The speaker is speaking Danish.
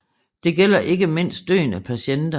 Det gælder ikke mindst døende patienter